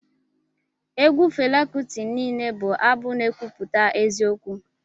Egwu Fela Kuti niile bụ abụ n'ekwuputa eziokwu